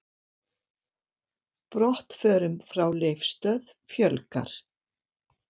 Brottförum frá Leifsstöð fjölgar